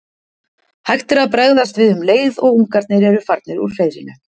Hægt er að bregðast við um leið og ungarnir eru farnir úr hreiðrinu.